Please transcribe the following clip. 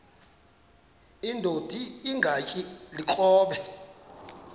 indod ingaty iinkobe